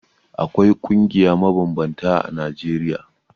Akwai ƙungiya mabambanta a Najeriya.